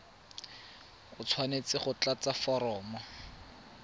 o tshwanetse go tlatsa foromo